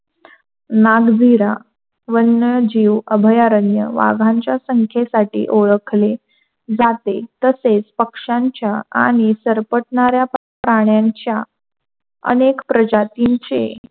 नागधीरा वन्यजीव अभयारण्य वाघाच्या संख्येसाठी ओळखले जाते. तसेच पक्षांच्या आणि सरपटणाऱ्या प्राण्यांच्या अनेक प्रजातींचे,